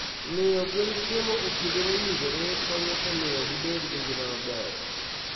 Miyo gwen chiemo e kinde mowinjore konyo e miyo gibed gi ngima maber.